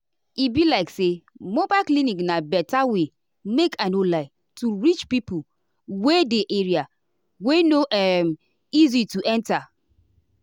e be like say mobile clinic na better way make i no lie to reach reach pipo wey dey area wey no um easy to enta.